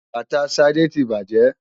Bàtà Ṣadé ti bàjẹ́.